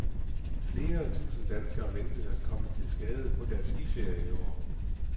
Flere tusinde danskere ventes at komme til skade på deres skiferie i år.